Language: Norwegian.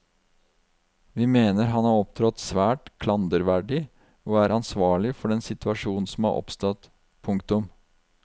Vi mener han har opptrådt svært klanderverdig og er ansvarlig for den situasjonen som har oppstått. punktum